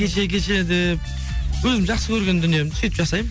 гече гече деп өзім жақсы көрген дүниемді сөйтіп жасаймын